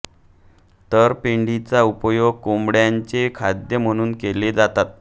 तर पेंडीचा उपयोग कोंबड्य़ांचे खाद्य म्हणून केला जातो